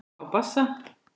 Á bassa.